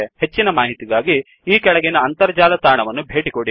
ಹೆಚ್ಚಿನ ಮಾಹಿತಿಗಾಗಿ ಈ ಕೆಳಗಿನ ಅಂತರ್ಜಾಲ ತಾಣವನ್ನು ಭೇಟಿಕೊಡಿ